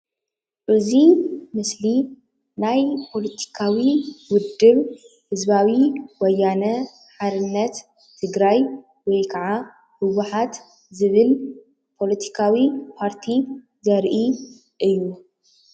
እዚ ምስሊ ናይ ፖለቲካዊ ውድብ ህዝባዊ ወያነ ሓርነት ትግራይ ወይ ካዓ ህ.ወ.ሓ.ት ዝብል ፖለቲካዊ ፓርቲ ዘርኢ እዩ ፡፡